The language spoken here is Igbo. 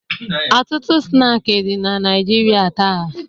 Ọtụtụ snaakị dị na Naịjirịa taa.